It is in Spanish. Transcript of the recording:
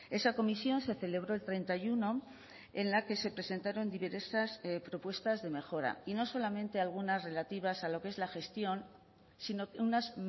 esa comisión se celebró el treinta y uno en la que se presentaron diversas propuestas de mejora y no solamente algunas relativas a lo que es la gestión sino unas